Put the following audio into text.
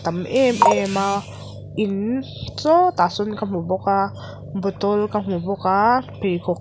a tam emem a in sawtah sawn ka hmu bawk a bottle ka hmu bawk a pheikhawk--